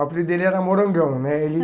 O apelido dele era morangão, né? Ele